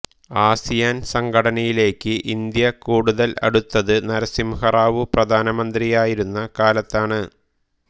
ASEAN സംഘടനയിലേക്ക് ഇന്ത്യ കൂടുതൽ അടുത്തത് നരസിംഹറാവു പ്രധാനമന്ത്രിയായിരുന്ന കാലത്താണ്